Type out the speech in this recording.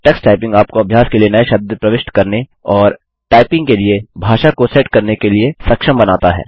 Tux Typing आपको अभ्यास के लिए नये शब्द प्रविष्ट करने और टाइपिंग के लिए भाषा को सेट करने के लिए सक्षम बनाता है